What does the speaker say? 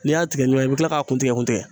N'i y'a tigɛ ɲɔgɔn i bi kila k'a kun tigɛ kun tigɛ